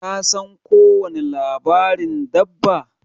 Ka san ko wani labarin dabba?